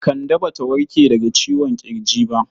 Kande Ba ta warke daga ciwon ƙirji ba.